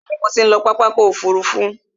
Bẹ̀ẹ̀ni, mo ti ń lọ pápá ọkò òfurufú.